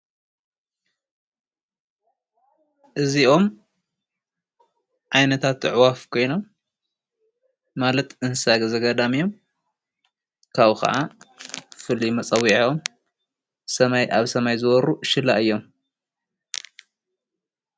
እዚኦም ዓይነታት ኣዕዋፍ ኾዮኖሞ ማለት እንስሳ ዘገዳም እዮም። ካብኡ ኸዓ ፍሉይ መፀዊዕዖም ኣብ ሰማይ ዝበሩ ሽላ እዮም።